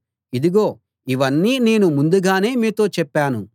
ఇదిగో ఇవన్నీ నేను ముందుగానే మీతో చెప్పాను